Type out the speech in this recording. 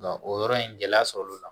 Nka o yɔrɔ in gɛlɛya sɔrɔ o la